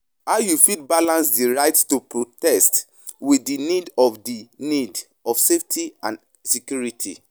How you fit balance di right to protest with di need of di need of safety and security?